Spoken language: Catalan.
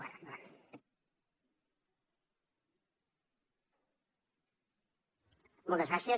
moltes gràcies